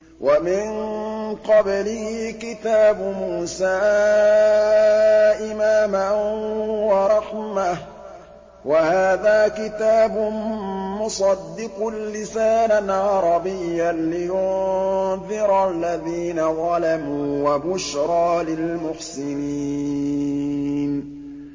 وَمِن قَبْلِهِ كِتَابُ مُوسَىٰ إِمَامًا وَرَحْمَةً ۚ وَهَٰذَا كِتَابٌ مُّصَدِّقٌ لِّسَانًا عَرَبِيًّا لِّيُنذِرَ الَّذِينَ ظَلَمُوا وَبُشْرَىٰ لِلْمُحْسِنِينَ